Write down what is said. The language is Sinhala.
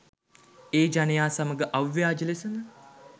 ඒ ජනයා සමග අව්‍යාජ ලෙසම